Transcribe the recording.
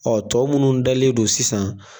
Ɔ tɔ munnu dalen don sisan.